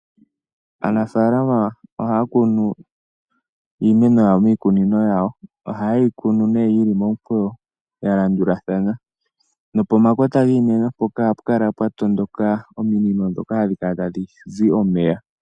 Aanafalama ohaya kunu iimeno yawo miikunino yawo. Ohaye yi kunu nee yili momukweyo yalandulathana nopomakota giimeno mpoka ohapu kala pwatondoka, ominino ndhoka hadhi kala tadhi zi omeya.